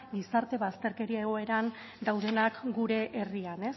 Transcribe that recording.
gizarte bazterkeria egoeran daudenak gure herrian